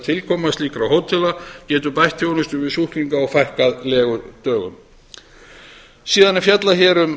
tilkoma slíkra hótela getur bætt þjónustu við sjúklinga og fækkað legudögum í greinargerðinni er síðan fjallað um